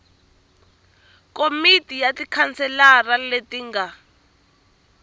komiti ya tikhanselara leti nga